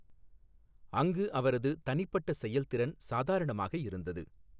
அங்கு அவரது தனிப்பட்ட செயல்திறன் சாதாரணமாக இருந்தது.